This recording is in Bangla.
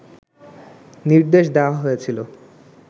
নির্দেশ দেয়া হয়েছিল